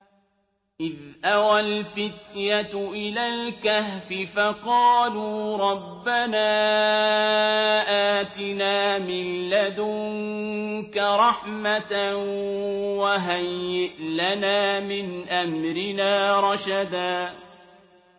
إِذْ أَوَى الْفِتْيَةُ إِلَى الْكَهْفِ فَقَالُوا رَبَّنَا آتِنَا مِن لَّدُنكَ رَحْمَةً وَهَيِّئْ لَنَا مِنْ أَمْرِنَا رَشَدًا